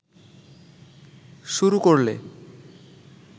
শুরু করলে